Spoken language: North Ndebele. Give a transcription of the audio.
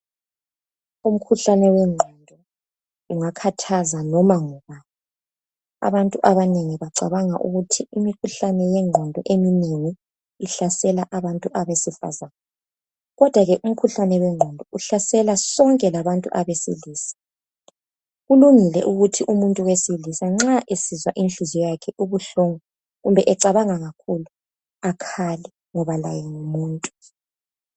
umkhuhlane wenqondo ungakhathaza noma ngubani abantu abanengi bacabanga ukuthi imikhuhlane yenqondo eminengi ihlasela abantu besifazana kodwa ke umkhuhlane wenqondo uhlasela sonke labantu abesilisa kulungile ukuthi umuntu wesilisa esizwa inhliziyo yakhe ibuhlungu kumbe ecabanga kakhulu akhale ngoba laye ngumuntu